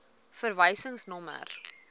verwysingsnommer